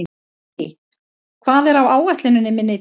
Signý, hvað er á áætluninni minni í dag?